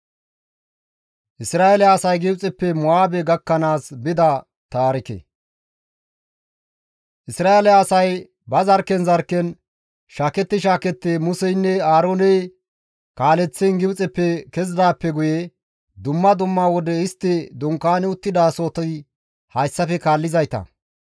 Isra7eele asay ba zarkken zarkken shaaketti shaaketti Museynne Aarooney kaaleththiin Gibxeppe kezidaappe guye dumma dumma wode istti dunkaani uttidasohoti hayssafe kaallizayta;